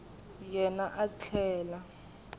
yena a tlhela a ri